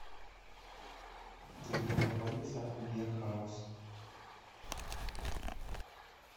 где находится бир хаус